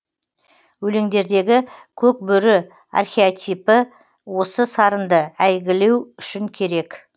өлеңдердегі көк бөрі архетипі осы сарынды әйгілеу үшін керек